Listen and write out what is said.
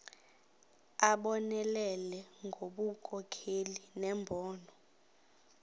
abonelele ngobunkokheli nembono